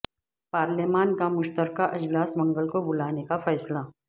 پارلیمان کا مشترکہ اجلاس منگل کو بلانے کا فیصلہ